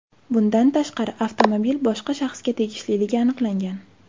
Bundan tashqari, avtomobil boshqa shaxsga tegishliligi aniqlangan.